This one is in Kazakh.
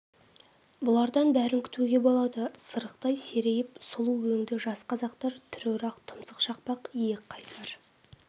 бұлардан бәрін күтуге болады сырықтай серейіп сұлу өңді жас қазақ тұр орақ тұмсық шақпақ иек қайсар